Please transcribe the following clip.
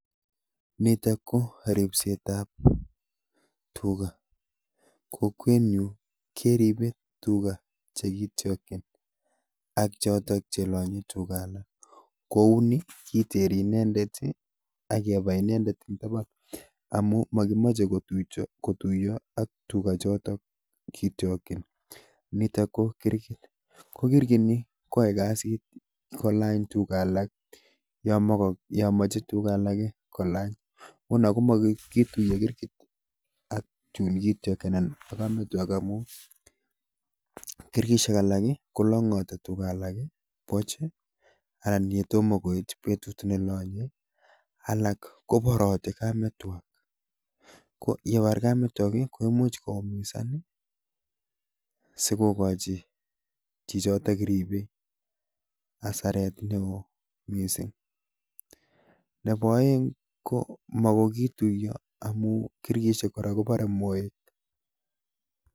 Nitok ko ripsetab tuga. Kokwenyu keribe tuga chekitiogchin ak chotok chelonyei tuga alak. Kouni kiteri inendet ak kebai imendet eng taban. amun mokimachei kotuiyo ak tuga chotok kitiogchin. Nitok ko kirgit ko kirgini ko yachei as kolany tuga alak yo mochei tuga alake kolany. Nguno mogoi kituyo kirgit ak chun kitiogchi aan ko kametwak amun kirgishek alak kolongoti tuga alak puch anan ko yo toma koit petut nelonyei. Alak koporatei kametwak ko yepar kametwakik komuchei koumisan sikokochi chichitok ribei asaret neo. Nebo oeng ko mogoi kituiyo amun kirgishek kora koporei moek.